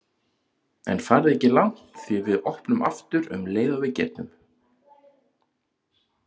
En farið ekki langt því við opnum aftur um leið og við getum.